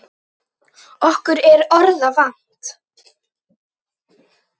Okkur er orða vant.